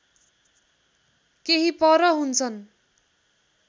केही पर हुन्छन्